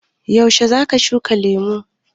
Yaushe za ka shuka lemu?